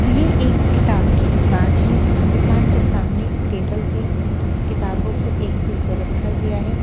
ये एक किताब की दुकान है दुकान के सामने टेबल पे किताबों को एक के ऊपर रखा गया है।